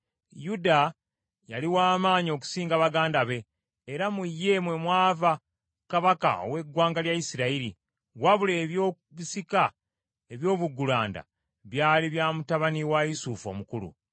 Yuda yali w’amaanyi okusinga baganda be, era mu ye mwe mwava kabaka ow’eggwanga lya Isirayiri, wabula ebyobusika eby’obuggulanda byali bya mutabani wa Yusufu omukulu.